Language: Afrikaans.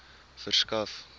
verskaf